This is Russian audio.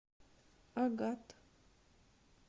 агат